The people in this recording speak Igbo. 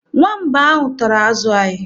Nwamba ahụ tara azụ anyị.